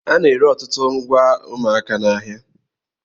A na-ere ọtụtụ ngwa ụmụaka n'ahịa.